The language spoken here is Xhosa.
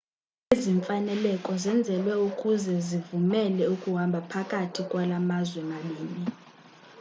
ezi mfaneleko zenzelwe ukuze zivumele ukuhamba phakathi kwala mazwe mabini